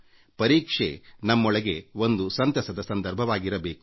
ಪರೀಕ್ಷೆ ನಮ್ಮೊಳಗೆ ಒಂದು ಸಂತಸದ ಸಂದರ್ಭವಾಗಿರಬೇಕು